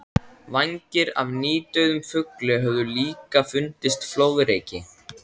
Vængir af nýdauðum fugli höfðu líka fundist flóðreki.